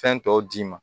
Fɛn tɔw d'i ma